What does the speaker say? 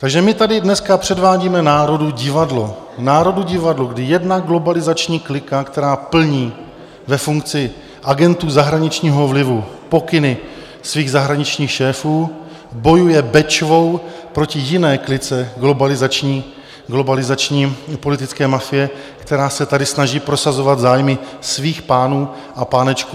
Takže my tady dneska předvádíme národu divadlo - národu divadlo, kdy jedna globalizační klika, která plní ve funkci agentů zahraničního vlivu pokyny svých zahraničních šéfů, bojuje Bečvou proti jiné klice globalizační politické mafie, která se tady snaží prosazovat zájmy svých pánů a pánečků.